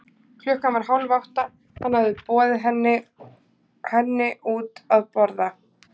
Klukkan var hálf átta, hann hafði boðið henni henni út að borða.